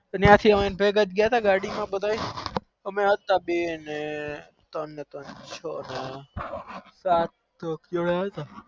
બધા ત્રણ ત્રણ છ હતા ને જોડે હતા